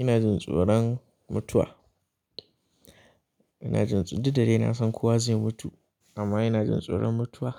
Ina jin tsoron mutuwa. Ina jin tsoro, duk da dai na san kowa zai mutu amma ina jin tsoron mutuwa.